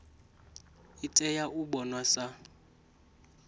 i tea u vhonwa sa